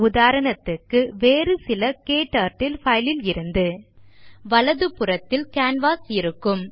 உதாரணத்துக்கு வேறு சில க்டர்ட்டில் files இலிருந்து வலது புறத்தில் கேன்வாஸ் இருக்கும்